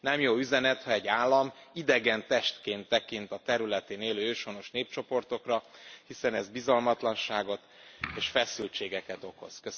Nem jó üzenet, ha egy állam idegen testként tekint a területén élő őshonos népcsoportokra, hiszen ez bizalmatlanságot és feszültségeket okoz.